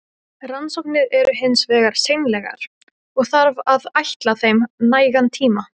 Forrannsóknir eru hins vegar seinlegar, og þarf að ætla þeim nægan tíma.